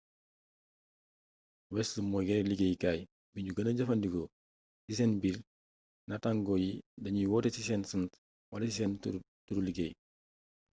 west moy yere liggéeykay bignuy gena jefandiko ci sen biir nàttangoo yi dagnuy woote ci seen sànt wala ci sen turu liggéey